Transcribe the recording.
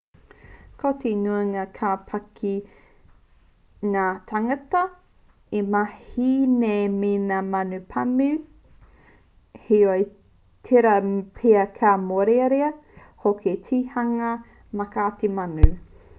ko te nuinga kua pā ki ngā tāngata e mahi nei me ngā manu pāmu heoi tērā pea ka mōrearea hoki ki te hunga mātaki manu